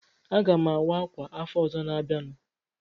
Aga m awa ákwà afọ ọzọ na-abịanụ.